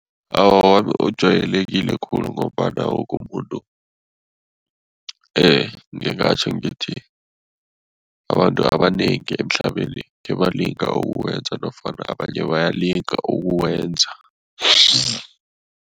Awa, wami ujwayelekile khulu ngombana woke umuntu ngingatjho ngithi, abantu abanengi emhlabeni khebalinga ukuwenza nofana abanye bayalinga ukuwenza